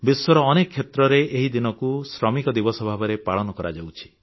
ବିଶ୍ୱର ଅନେକ କ୍ଷେତ୍ରରେ ଏହି ଦିନଟିକୁ ଶ୍ରମିକ ଦିବସ ଭାବରେ ପାଳନ କରାଯାଉଛି